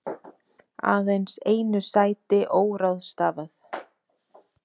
Aðeins einu sæti óráðstafað